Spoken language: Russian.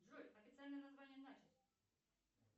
джой официальное название начос